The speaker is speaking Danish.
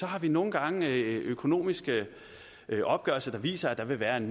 har vi nogle gange økonomiske opgørelser der viser at der vil være en